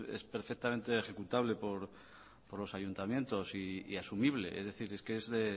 es perfectamente ejecutable por los ayuntamientos y asumible es decir es de